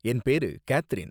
என் பேரு கேத்தரின்.